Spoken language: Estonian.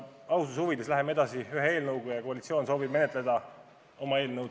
Aususe huvides läheme edasi ühe eelnõuga ja koalitsioon soovib menetleda oma eelnõu.